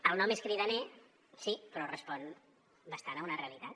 el nom és cridaner sí però respon bastant a una realitat